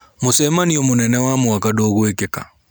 Mũcemanio mũnene wa mwaka ndũgũĩkĩka.